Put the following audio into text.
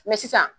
sisan